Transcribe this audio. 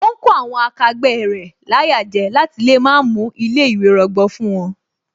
Ó ń kó àwọn akẹgbẹ́ rẹ̀ láyà jẹ láti lè má mú ilé ìwé rọgbọ fún wón